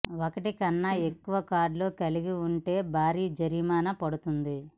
ఒకటి కన్నా ఎక్కువ కార్డులు కలిగి ఉంటే భారీ జరిమానా పడుతుంది